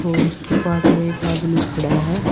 और उसके पास में एक आदमी खड़ा है।